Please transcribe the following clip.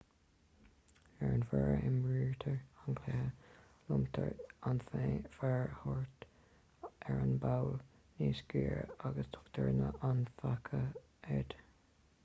ar an bhféar a imrítear an cluiche lomtar an féar thart ar an bpoll níos giorra agus tugtar an faiche air